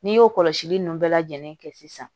N'i y'o kɔlɔsili nunnu bɛɛ lajɛlen kɛ sisan